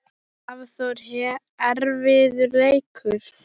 Hafþór: Erfiður leikur?